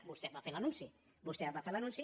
vostè en va fer l’anunci vostè en va fer l’anunci